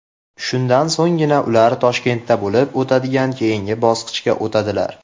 Shundan so‘nggina ular Toshkentda bo‘lib o‘tadigan keyingi bosqichga o‘tadilar.